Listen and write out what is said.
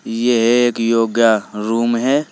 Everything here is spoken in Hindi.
यह एक योगा रूम है।